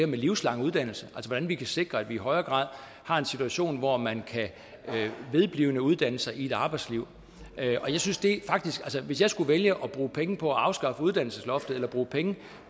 med livslang uddannelse hvordan vi kan sikre at vi i højere grad har en situation hvor man kan vedblive med at uddanne sig i et arbejdsliv hvis jeg skulle vælge mellem at bruge penge på at afskaffe uddannelsesloftet og at bruge penge